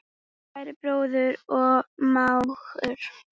Kæri bróðir og mágur.